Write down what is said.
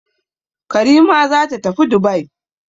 Karima za ta tafi Dubai.